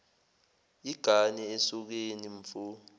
igane esokeni mfo